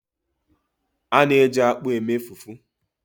A na-eji akpu eme fufu.